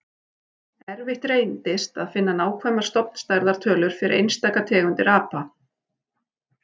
Erfitt reyndist að finna nákvæmar stofnstærðar tölur fyrir einstaka tegundir apa.